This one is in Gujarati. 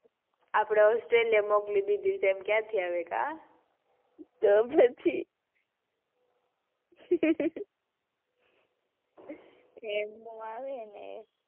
આપડે austreliya મોકલી દીધી છે એમ કયાથી આવે કાં. તો પછી એમ નો આવે ને.